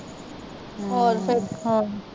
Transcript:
ਹੋਰ ਫਿਰ